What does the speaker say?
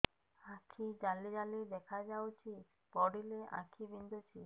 ଆଖି ଜାଲି ଜାଲି ଦେଖାଯାଉଛି ପଢିଲେ ଆଖି ବିନ୍ଧୁଛି